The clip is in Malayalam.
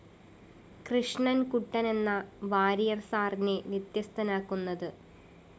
കൃഷ്ണന്‍കുട്ടനെന്ന വാരിയർ സിർ വ്യത്യസ്തനാക്കുന്നത്